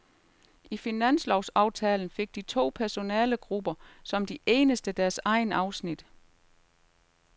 I finanslovsaftalen fik de to personalegrupper som de eneste deres egne afsnit.